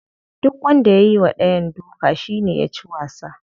Duk wanda ya yiwa dayan duka shine yaci wasa.